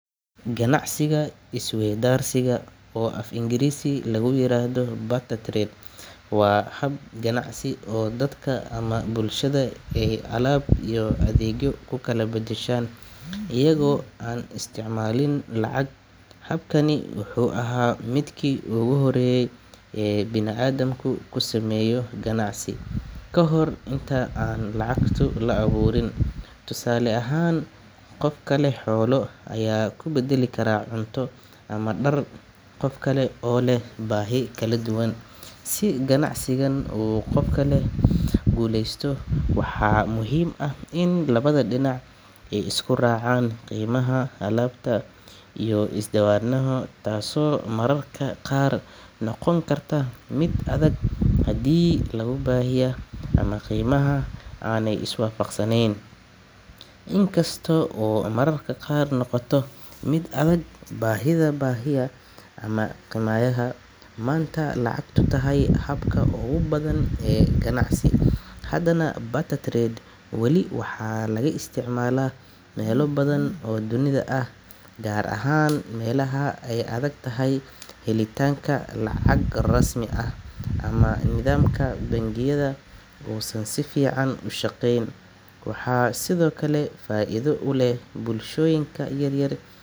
Ganacsiga isweydaarsiga, oo af Ingiriisi lagu yiraahdo barter trade, waa hab ganacsi oo dadka ama bulshada ay alaab iyo adeegyo ku kala beddeshaan iyaga oo aan isticmaalin lacag. Habkani wuxuu ahaa midkii ugu horreeyay ee bini’aadamku ku sameeyo ganacsi ka hor inta aan lacagta la abuurin. Tusaale ahaan, qofka leh xoolo ayaa ku beddeli kara cunto ama dhar qof kale oo leh baahi kala duwan. Si ganacsigan u guuleysto, waxaa muhiim ah in labada dhinac ay isku raacaan qiimaha alaabta la isweydaarsanayo, taasoo mararka qaar noqon karta mid adag haddii baahiyaha ama qiimaha aanay iswaafaqsanayn. In kasta oo maanta lacagtu tahay habka ugu badan ee ganacsi, haddana barter trade weli waxaa laga isticmaalaa meelo badan oo dunida ah, gaar ahaan meelaha ay adag tahay helitaanka lacag rasmi ah ama nidaamka bangiyada uusan si fiican u shaqeyn. Waxaa sidoo kale faa’iido u leh bulshooyinka yaryar i.